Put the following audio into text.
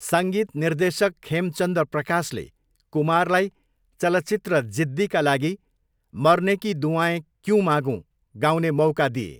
सङ्गीत निर्देशक खेमचन्द प्रकाशले कुमारलाई चलचित्र जिद्दीका लागि 'मरने की दुआएँ क्यूँ मागूँ' गाउने मौका दिए।